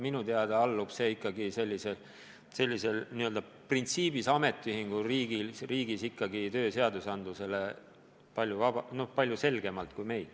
Minu teada allub see põhimõtteliselt sellises ametiühinguriigis ikkagi tööseadlustikule palju selgemalt kui meil.